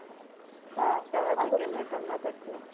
ಹ ಪ್ರವಾಸಕ್ಕೆಲ್ಲ ಗಮತ್ತ್ ಆಗ್ತಾ ಇತ್ತು.